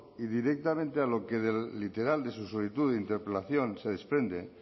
y directamente a lo que del literal de su solicitud de interpelación se desprende